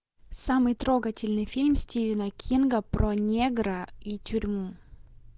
самый трогательный фильм стивена кинга про негра и тюрьму